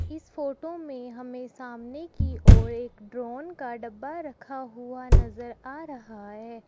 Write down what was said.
इस फोटो में हमें सामने की और एक ड्रोन का डब्बा रखा हुआ नजर आ रहा है।